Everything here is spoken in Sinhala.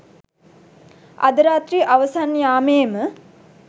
අද රාත්‍රී අවසන් යාමයේ ම